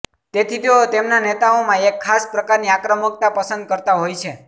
તેથી તેઓ તેમના નેતાઓમાં એક ખાસ પ્રકારની આક્રમકતા પસંદ કરતા હોય છે